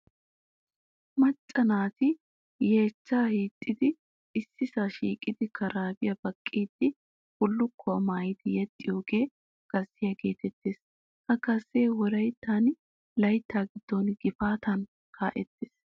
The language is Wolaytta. Macca naati yeechchaa hiixxidi issisaa shiiqidi karaabiya baqqiiddi bullukkuwa maayidi yexxiyoogaa gazziya geetettes. Ha gazzee wolayittan layittaa giddon gifaatan kaa'ettes.